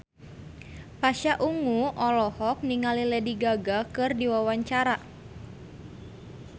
Pasha Ungu olohok ningali Lady Gaga keur diwawancara